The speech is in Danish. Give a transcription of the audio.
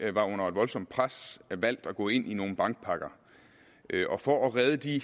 var under et voldsomt pres valgt at gå ind i nogle bankpakker og for at redde de